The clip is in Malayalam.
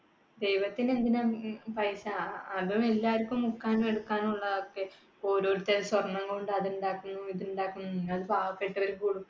ദൈവത്തിന് എന്തിനാണ് ഈ പൈസ. അതെല്ലാവർക്കും മുക്കാനും എടുക്കാനും ഉള്ളതാണ് ഒക്കെ. ഓരോരുത്തരു സ്വർണ്ണം കൊണ്ട് അതുണ്ടാക്കുന്നു, ഇതുണ്ടാക്കുന്നു. എന്നാൽ പാവപ്പെട്ടവർ